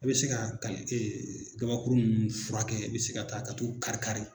I be se ka kal gabakuru nn furakɛ, i be se ka taa ka t'u kari-kari